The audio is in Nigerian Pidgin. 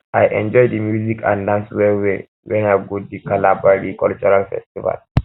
i enjoy di music and dance wellwell wen i go di kalabari cultural festival